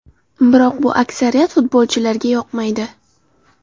Biroq bu aksariyat futbolchilarga yoqmaydi.